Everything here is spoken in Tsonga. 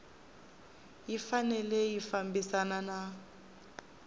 yi fanele yi fambisana na